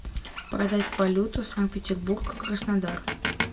продать валюту санкт петербург краснодар